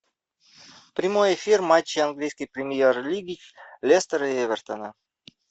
прямой эфир матча английской премьер лиги лестера и эвертона